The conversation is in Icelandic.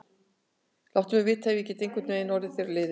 Láttu mig vita, ef ég get einhvern veginn orðið þér að liði.